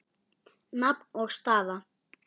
Nafn og staða?